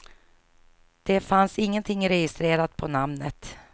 Det fanns ingenting registrerat på namnet.